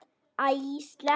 Æ, sleppum því.